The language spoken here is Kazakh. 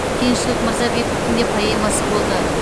кеңшілік мырзабековтің де поэмасы болды